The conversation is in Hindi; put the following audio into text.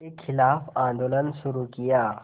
के ख़िलाफ़ आंदोलन शुरू किया